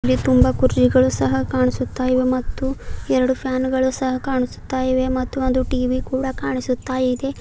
ಅಲ್ಲಿ ತುಂಬ ಕುರ್ಚಿಗಳು ಸಹ ಕಾಣ್ಸುತ್ತಾ ಇವೆ ಮತ್ತು ಎರಡು ಫ್ಯಾನ ಗಳು ಸಹ್ ಕಾಣಿಸುತ್ತಾ ಇವೆ ಮತ್ತು ಒಂದು ಟಿ_ವಿ ಕೂಡ ಕಾಣಿಸುತ್ತಾ ಇದೆ.